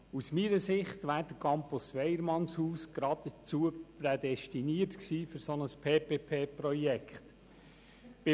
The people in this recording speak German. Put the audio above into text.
Meines Erachtens wäre der Campus Weyermannshaus für ein solches PPP-Projekt prädestiniert.